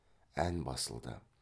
ән басылды